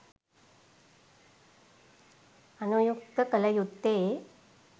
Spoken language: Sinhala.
අනුයුක්ත කළ යුත්තේ